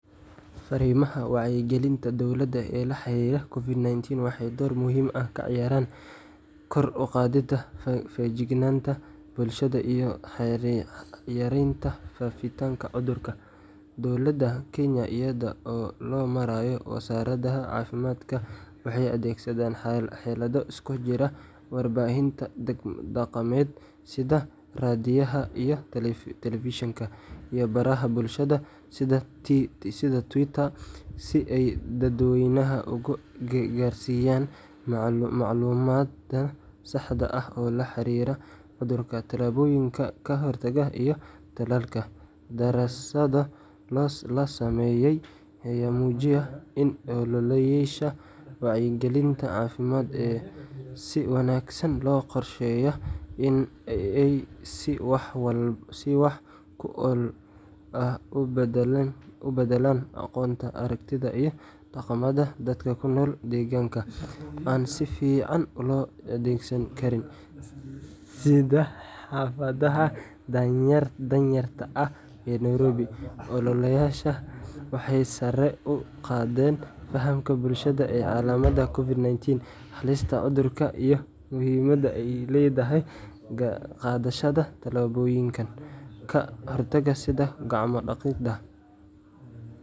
Fariimaha wacyigelinta dowladda ee la xiriiray COVID-19 waxay door muhiim ah ka ciyaareen kor u qaadidda feejignaanta bulshada iyo yareynta faafitaanka cudurka. Dowladda Kenya, iyada oo loo marayo Wasaaradda Caafimaadka, waxay adeegsadeen xeelado isugu jira warbaahinta dhaqameed sida raadiyaha iyo telefishinka, iyo baraha bulshada sida Twitterka, si ay dadweynaha ugu gaarsiiyaan macluumaad sax ah oo la xiriira cudurka, tallaabooyinka ka hortagga, iyo tallaalka .Daraasado la sameeyay ayaa muujiyay in ololayaasha wacyigelinta caafimaad ee si wanaagsan loo qorsheeyay ay si wax ku ool ah u beddelaan aqoonta, aragtida, iyo dhaqamada dadka ku nool deegaanada aan si fiican loo adeegsan karin, sida xaafadaha danyarta ah ee Nairobi . Ololayaashan waxay sare u qaadeen fahamka bulshada ee calaamadaha COVID-19, halista cudurka, iyo muhiimadda ay leedahay qaadashada tallaabooyinka ka hortagga sida gacmo-dhaqidda.